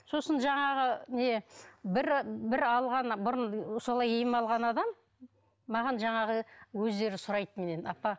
сосын жаңағы не бір бір алған бұрын солай ем алған адам маған жаңағы өздері сұрайды менен апа